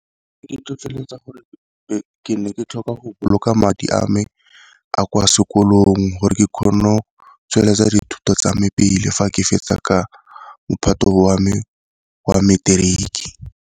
E ntlhotlheletsa gore ke ne ke tlhoka go boloka madi a me a kwa sekolong, gore ke kgone o tsweletsa dithuto tsa me pele fa ke fetsa ka mophato wa me wa materiki.